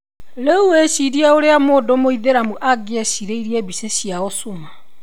Rĩu wĩcirie ũrĩa mũndũ mũithĩramu angĩecirĩirie mbica cia Osuma.